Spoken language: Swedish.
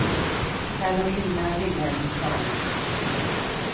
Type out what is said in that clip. Karolina Vilhelmsson